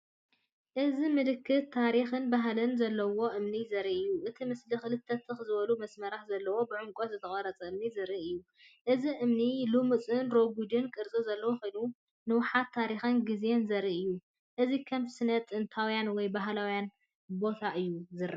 እዚ ምልክት ታሪኽን ባህልን ዘለዎ እምኒ ዘርኢ እዩ። እቲ ምስሊ ክልተ ትኽ ዝበሉ መስመራት ዘለዎ ብዕምቆት ዝተቐርጸ እምኒ ዘርኢ እዩ። እቲ እምኒ ልሙጽንርጉእን ቅርጺ ዘለዎ ኮይኑ፡ንውሓት ታሪኽን ግዜን ዘርኢ እዩ። እዚ ከም ስነ-ጥንታዊ ወይ ባህላዊ ቦታ እዩ ዝረአ።